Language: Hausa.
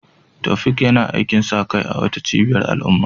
Taofiq yana aikin sa kai a wata cibiyar al'umma